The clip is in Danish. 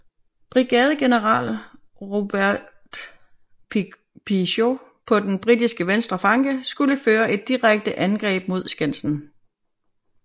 Brigadegeneral Robert Pigot på den britiske venstre flanke skulle føre et direkte angreb mod skansen